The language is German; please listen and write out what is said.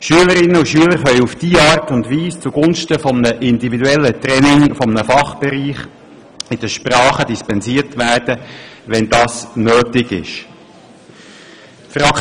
Schülerinnen und Schüler können auf diese Art und Weise zugunsten eines individuellen Trainings eines Fachbereiches von den Fremdsprachen dispensiert werden, wenn dies nötig ist.